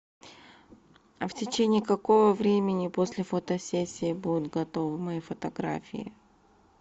в течении какого времени после фотосессии будут готовы мои фотографии